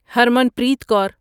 Harmanpreet کار